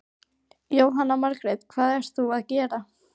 Jóhanna Margrét: Hvað ert þú að gera?